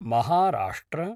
Maharashtra